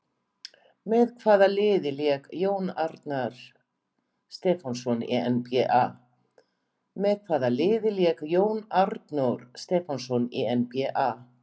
Með hvaða liði lék Jón Arnór Stefánsson í NBA?